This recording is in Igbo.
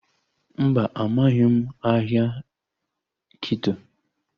Mba, amaghị m ahịa Kito